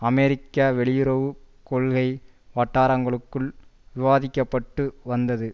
அமெரிக்க வெளியுறவு கொள்கை வட்டாரங்களுக்குள் விவாதிக்க பட்டு வந்தது